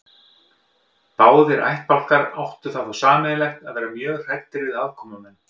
Báðir ættbálkar áttu það þó sameiginlegt að vera mjög hræddir við aðkomumenn.